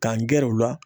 K'an gɛrɛ u la